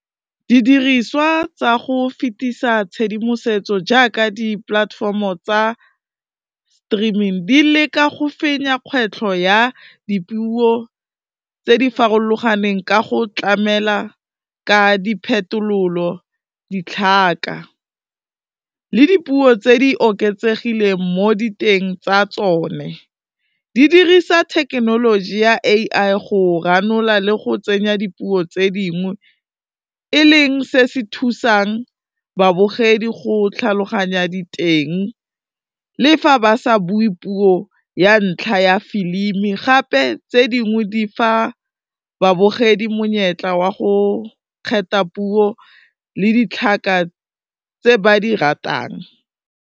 Didiriswa tsa go fetisa tshedimosetso jaaka dipolatefomo tsa streaming, di leka go fenya kgwetlho ya dipuo tse di farologaneng ka go tlamela ka diphetololo, ditlhaka le dipuo tse di oketsegile mo diteng tsa tsone, di dirisa thekenoloji ya A_I go ranola le go tsenya dipuo tse dingwe e leng se se thusang babogedi go tlhaloganya diteng, le fa ba sa bue puo ya ntlha ya filimi gape tse dingwe di fa babogedi monyetla wa go kgetha puo le ditlhaka tse ba di ratang.